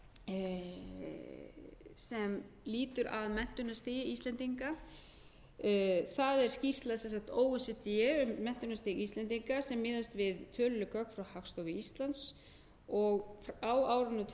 fimm sem lýtur að menntunarstigi íslendinga það er sem sagt skýrsla o e c d um menntunarstig íslendinga sem miðast við töluleg gögn frá hagstofu íslands og á árinu tvö